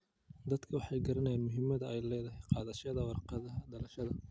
Dadku way garanayaan muhiimada ay leedahay qaadashada warqadaha dhalashada.